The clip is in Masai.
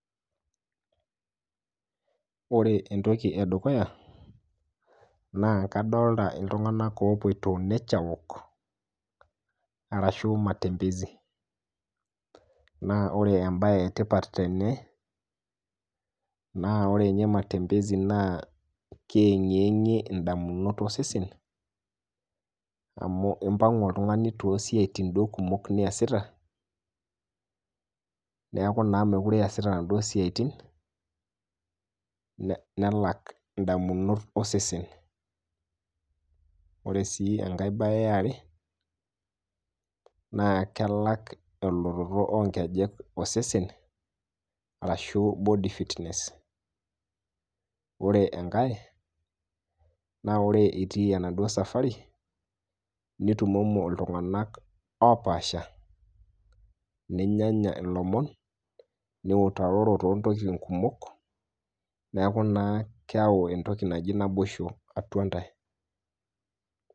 Ore entoki edukuya naa kadolita ltunganak oopoito nature walk arashu matemezi naa ore embaye etipat tene naa ore ninye [cs[ matembezi naa keyeng'iyeng'ie indamunot osesen amu impang'u oltungani too siatin duo kumok niasita neaku naa mekure duo iasita enaduo siatin nelak indamunot osesen, ore sii enkae baye eare naa kelak elototo oonkejek osesen arashu body fitness ore enake, naa ore itii enaduo safari nitumomo ltunganak opaasha, ninyanya ilomon, niutaroror too ntokitin kumok, neaku naa keyau entoki naji naoboshoo atua intae.